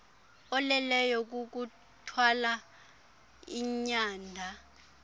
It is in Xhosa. oleleyo kukuthwala inyanda